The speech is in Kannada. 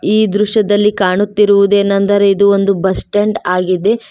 ಈ ದೃಶ್ಯದಲ್ಲಿ ಕಾಣುತಿರುವುದೆನೆಂದರೆ ಇದು ಒಂದು ಬಸ್ ಸ್ಟಾಂಡ್ ಆಗಿದೆ.